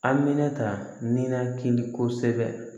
Aminata ninakili kɔsɛbɛ